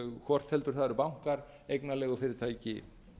hvort heldur það eru bankar eignarleigufyrirtæki